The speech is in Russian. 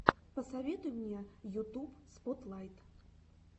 посоветуй мне ютуб спотлайт